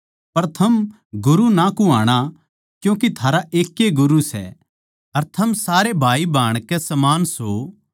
पर थम गुरु ना कुह्वाणा क्यूँके थारा एकै ए गुरू सै अर थम सारे भाईभाण के समान सों